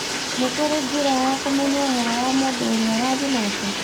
nĩ kũrĩ njĩra ya kũmenya ũhoro wa mũndũ ũrĩa ũraaria nake